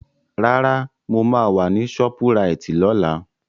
Rárá, mo máa wà ní ṣọ́púraìtì lọ́la.